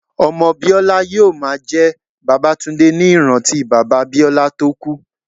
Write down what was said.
Ọmọ Biola yóò máa jẹ́ Babatunde ní ìrántí bàbá Biola tó kú.